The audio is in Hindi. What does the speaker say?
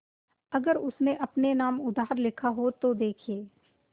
अगर उसने अपने नाम उधार लिखा हो तो देखिए